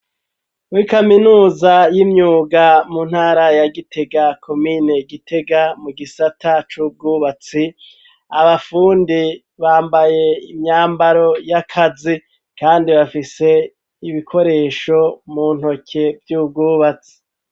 Muri kaminuza y'imyuga mu ntara ya Gitega komine Gitega mu gisata c'ubwubatsi abafundi bambaye imyambaro y'akazi kandi bafise ibikoresho mu ntoke y'ubwubatsi